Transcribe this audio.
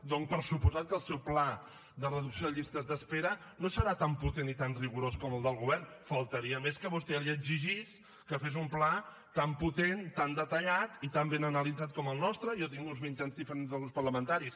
dono per suposat que el seu pla de reducció de llistes d’espera no serà tan potent i tan rigorós com el del govern només faltaria que a vostè li exigís que fes un pla tan potent tan detallat i tan ben analitzat com el nostre jo tinc uns mitjans diferents dels grups parlamentaris